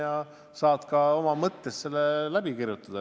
Ja nii saad oma mõttes asjad läbi võtta.